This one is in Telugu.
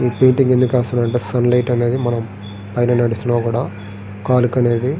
ఈ పెయింటింగ్ ఎందుకు ఏస్తున్నామంటే సన్ లైట్ అనేది మనం పైన నడుస్తున్నా కూడా కాలుకనేది--